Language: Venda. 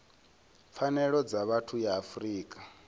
pfanelo dza vhathu ya afrika